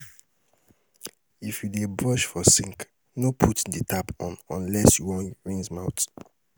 if yu dey brush for sink, no put di tap on unless you wan rinse mouth